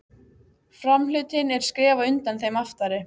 Framhlutinn er skrefi á undan þeim aftari.